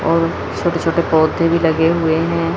और छोटे छोटे पौधे भी लगे हुए है।